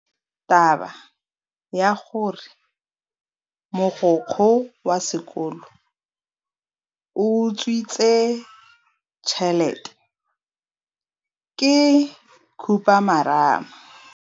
Taba ya gore mogokgo wa sekolo o utswitse tšhelete ke khupamarama.